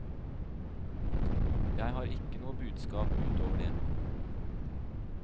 Jeg har ikke noe budskap ut over det.